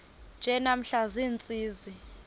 nje namhla ziintsizi